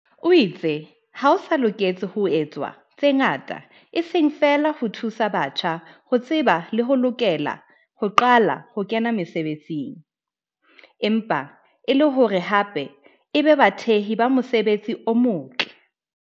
o itse ho sa loketse ho etswa tse ngata eseng feela ho thusa batjha ho tseba le ho lokela ho qala ho kena mesebetsing, empa e le hore hape e be bathehi ba mosebetsi o motle.